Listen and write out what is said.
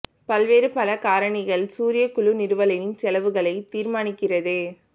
பல்வேறு பல காரணிகள் சூரிய குழு நிறுவலின் செலவுகளை தீர்மானிக்கிறது